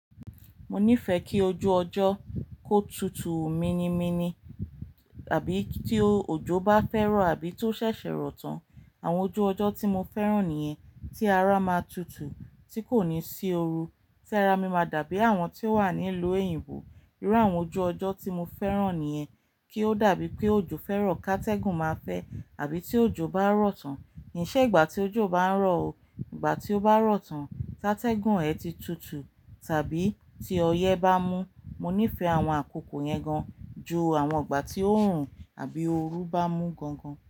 Mo nífẹ̀ẹ́ kí ojú ọjọ́ kó tutù mini mini tàbí kí tí òjò bá fẹ́ rọ̀ àbí tó ṣẹ̀ṣẹ̀ rọ̀ tán. Àwọn ojú ọjọ́ tí mo fẹ́ràn nìyẹn, tí ara máa tutù, tí kò ní sí oru. Tí ara mi máa dàbí àwọn tí ó wà ní ìlú oyìǹbo. Irú àwọn ojú ọjọ́ tí mo fẹ́ràn nìyẹn. Kí ó dàbí pé òjò fẹ́ rọ̀ kátégùn máa fẹ́, àbí tí òjò bá rọ̀ tán. Kì í ṣe ìgbà tí òjò bá ń rọ̀ o. Ìgbà tí ó bá rọ̀ tán, kátégùn ẹ ti tutù, tàbí tí ọyẹ́ bá n mú. Mo nífẹ̀ẹ́ àwọn àkókò yẹn gan, ju àwọn ìgbà tí òòrùn àbí oru bá mú gan gan.